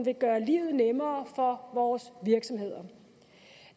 vil gøre livet nemmere for vores virksomheder